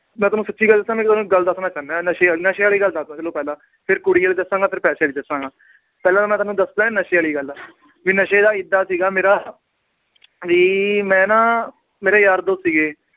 ਮੈਂ ਤੁਹਾਨੂੰ ਸੱਚੀ ਗੱਲ ਦੱਸਾਂ ਮੈਂ ਤੁਹਾਨੂੰ ਗੱਲ ਦੱਸਣਾ ਚਾਹੁਨਾ ਹੈ ਨਸ਼ੇ ਵਾਲੀ ਨਸ਼ੇ ਵਾਲੀ ਗੱਲ ਦੱਸਦਾਂ ਤੁਹਾਨੂੰ ਪਹਿਲਾਂ ਫਿਰ ਕੁੜੀ ਵਾਲੀ ਦੱਸਾਂਗਾ ਫਿਰ ਪੈਸੇ ਵਾਲੀ ਦੱਸਾਂਗਾ, ਪਹਿਲਾਂ ਤਾਂ ਮੈਂ ਤੁਹਾਨੂੰ ਦੱਸਦਾਂ ਨਸ਼ੇ ਵਾਲੀ ਗੱਲ ਵੀ ਨਸ਼ੇ ਦਾ ਏਦਾਂ ਸੀਗਾ ਮੇਰਾ ਵੀ ਮੈਂ ਨਾ ਮੇਰੇ ਯਾਰ ਦੋਸਤ ਸੀਗੇ